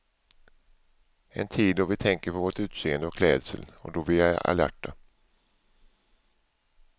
En tid då vi tänker på vårt utseende och klädsel och då vi är alerta.